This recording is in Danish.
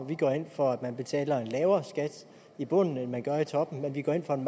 vi går ind for at man betaler lavere skat i bunden end man gør i toppen men vi går ind for en